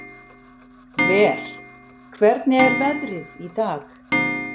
Ver, hvernig er veðrið í dag?